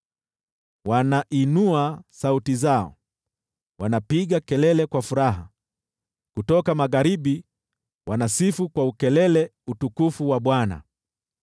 Wanainua sauti zao, wanapiga kelele kwa furaha, kutoka magharibi wanasifu kwa ukelele utukufu wa Bwana .